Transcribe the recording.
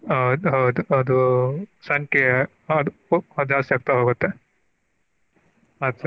ಹೌದ ಹೌದು ಅದು ಸಂಖ್ಯೆಯ ಅದ ಜಾಸ್ತಿ ಆಗ್ತಾ ಹೋಗುತ್ತೆ ಆ ತರಾ.